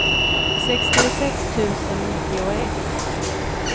sextiosex tusen nittioett